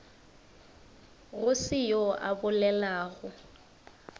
go se yoo a bolelago